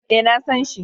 Eh, na san shi